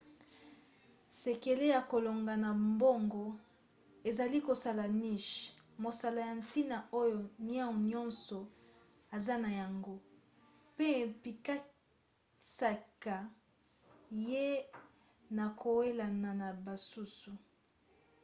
sekele ya kolonga na bango ezali kosala niche mosala ya ntina oyo niau nyonso aza na yango mpe epekisaka ye na kowelana na basusu